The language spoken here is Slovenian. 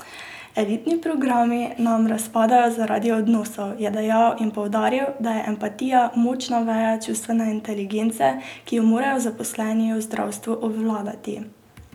Elitni programi nam razpadajo zaradi odnosov, je dejal in poudaril, da je empatija močna veja čustvene inteligence, ki jo morajo zaposleni v zdravstvu obvladati.